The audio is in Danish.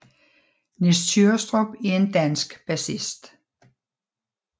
Nis Tyrrestrup er en dansk bassist